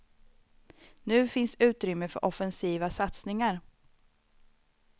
Nu finns utrymme för offensiva satsningar.